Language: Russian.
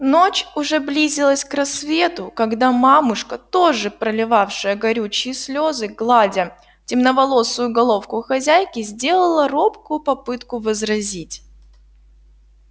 ночь уже близилась к рассвету когда мамушка тоже проливавшая горючие слезы гладя темноволосую головку хозяйки сделала робкую попытку возразить